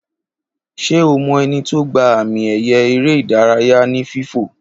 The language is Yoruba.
Ṣe ọ mo eni to gba àmì ẹ̀yẹ eré ìdárayá oní fífò